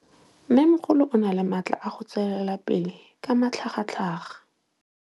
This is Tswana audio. Mmêmogolo o na le matla a go tswelela pele ka matlhagatlhaga.